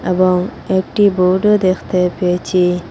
এবং একটি বোর্ডও দেখতে পেয়েছি।